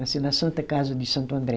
Nasceu na Santa Casa de Santo André.